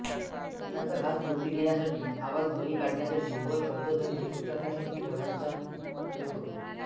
अन्नाचा घास तोंडी घेण्यासाठी आवाज ध्वनी काढण्यासाठी व शब्दध्वनी उच्चारण्यासाठी ओठांचा उपयोग होतो